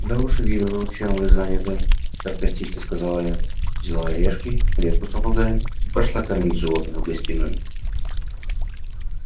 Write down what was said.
да уж вижу чем вы заняты саркастично сказала я взяла орешки клетку с попугаем и пошла кормить животное в гостиную